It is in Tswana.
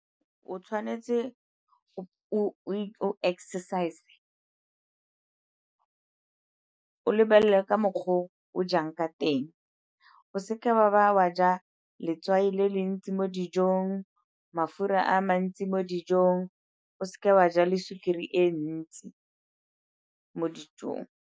O tshwanetse o exercise, o lebelele ka mokgwa o o jang ka teng, o seka ba ba wa ja letswai le le ntsi mo dijong, mafura a mantsi mo dijong, o seke wa ja le sukiri e ntsi mo dijong.